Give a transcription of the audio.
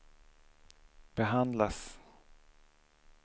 behandlas